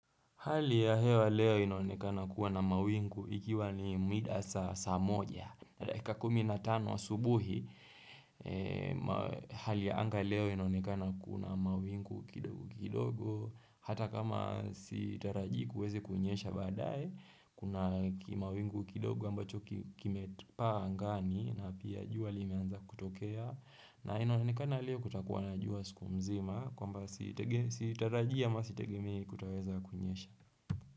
Hali ya hewa leo inaonekana kuwa na mawingu ikiwa ni mida saa saa moja. Dakika kumina tano asubuhi, hali ya anga leo inaonekana kuwa na mawingu kidogo kidogo, hata kama sitarajikuwezi kunyesha badaae, kuna mawingu kidogo ambacho kime paa ngani na pia jua liimeanza kutokea. Na inaonekana lie kutakuwa najua siku mzima Kwa mba sitarajia ma sitegemei kutoweza kunyesha.